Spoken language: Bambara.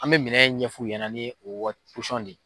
An bɛ minɛ ɲɛf'u ɲɛna ni o waa ne